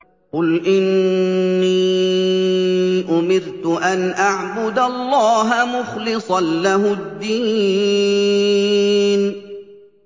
قُلْ إِنِّي أُمِرْتُ أَنْ أَعْبُدَ اللَّهَ مُخْلِصًا لَّهُ الدِّينَ